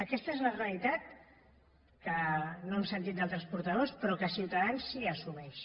aquesta és la rea litat que no hem sentit d’altres portaveus però que ciutadans sí que assumeix